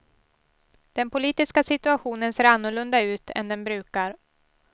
Den politiska situationen ser annorlunda ut än den brukar.